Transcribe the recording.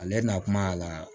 Ale na kuma a la